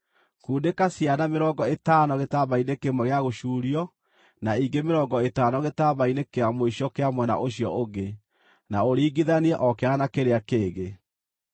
Kundĩka ciana mĩrongo ĩtano gĩtambaya-inĩ kĩmwe gĩa gũcuurio, na ingĩ mĩrongo ĩtano gĩtambaya-inĩ kĩa mũico kĩa mwena ũcio ũngĩ, na ũringithanie o kĩana na kĩrĩa kĩngĩ.